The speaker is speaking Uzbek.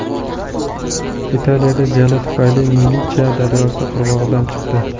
Italiyada jala tufayli Milicha daryosi qirg‘og‘idan chiqdi.